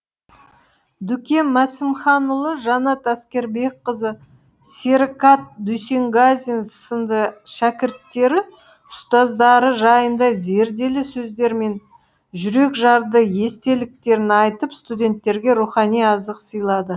дүкен мәсімханұлы жанат әскербекқызы серікат дүйсенғазин сынды шәкірттері ұстаздары жайында зерделі сөздері мен жүрекжарды естеліктерін айтып студенттерге рухани азық сыйлады